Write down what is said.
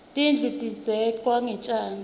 tindlu tidzeklwe ngetjani